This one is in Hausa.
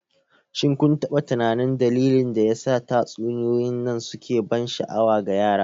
shin kun taɓa tunanin dalilin da yasa tatsuniyoyin nan suke ban sha'awa ga yara?